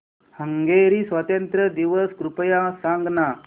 Hungary स्वातंत्र्य दिवस कृपया सांग ना